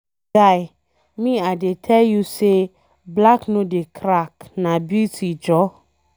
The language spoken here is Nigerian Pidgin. Guy, me, I dey tell you say black no dey crack na beauty jhor